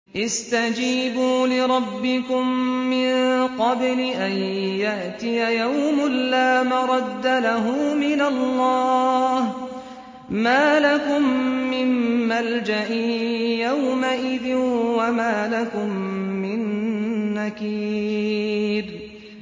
اسْتَجِيبُوا لِرَبِّكُم مِّن قَبْلِ أَن يَأْتِيَ يَوْمٌ لَّا مَرَدَّ لَهُ مِنَ اللَّهِ ۚ مَا لَكُم مِّن مَّلْجَإٍ يَوْمَئِذٍ وَمَا لَكُم مِّن نَّكِيرٍ